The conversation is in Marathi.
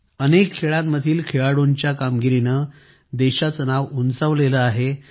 अनेक खेळांमधील खेळाडूंच्या कामगिरीने देशाचे नाव उंचावलं आहे